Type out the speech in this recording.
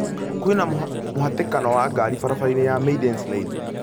Kwĩna mũhatĩkano wa ngari barabara-inĩ ya Maidens Lane